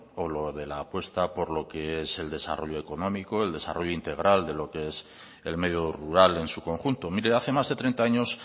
o la apuesta por lo que es el desarrollo económico el desarrollo integral de lo que es el medio rural en su conjunto mire hace más de treinta años